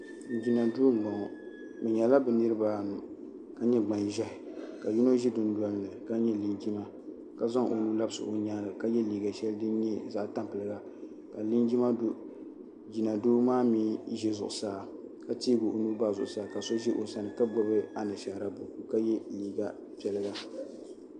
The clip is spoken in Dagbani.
Jina duu m boŋɔ bɛ nyɛla bɛ niriba anu ka nyɛ gbanʒehi ka yino be dundolini ni ka nyɛ linjima ka zaŋ o nuu labisi o nyaanga ka ye liiga sheli din nyɛ zaɣa tampilim ka jina do maa mee ʒɛ zuɣusaa ka teegi o nua bahi zuɣusaa ka so ʒi o sani ka gbibi anashaara buku ka ye liiga piɛlli.